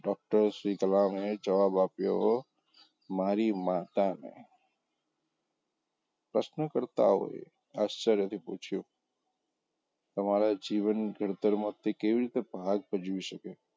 doctor Shri કલામએ જવાબ આપ્યો મારી માતાને પ્રશ્ન કરતાં હોય આશ્ચર્યથી પૂછ્યું તમારાં જીવન ઘડતર માં તે કેવી રીતે ભાગ ભજવી શકે.